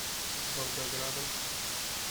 волгоградом